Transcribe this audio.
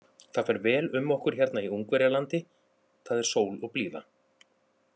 Það fer vel um okkur hérna í Ungverjalandi, það er sól og blíða.